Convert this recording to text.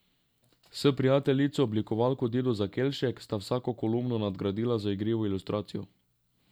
S prijateljico, oblikovalko Dido Zakelšek, sta vsako kolumno nadgradila z igrivo ilustracijo.